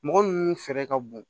Mɔgɔ ninnu fɛɛrɛ ka bon